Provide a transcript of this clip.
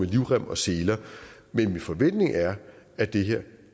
livrem og seler men min forventning er at det her